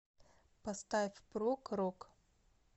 поставь прог рок